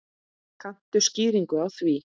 Kanntu skýringu á því?